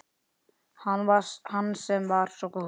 Hann sem var svo góður